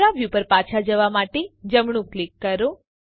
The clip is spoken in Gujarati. કેમેરા વ્યુ પર પાછા જવા માટે જમણું ક્લિક કરો